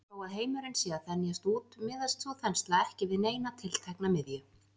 Þó að heimurinn sé að þenjast út miðast sú þensla ekki við neina tiltekna miðju.